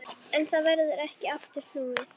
En það verður ekki aftur snúið.